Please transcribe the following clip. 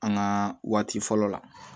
An ka waati fɔlɔ la